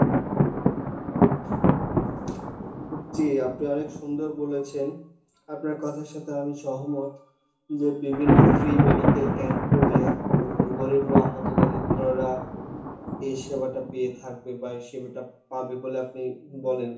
জি আপনি অনেক সুন্দর বলেছেন আপনার কথার সাথে আমি সহমত, যে বিভিন্ন free medical camp করলে হম গরিবরা দরিদ্ররা এই সেবাটা পেয়ে থাকবে বা এই সেবাটা পাবে বলে আপনি বলেন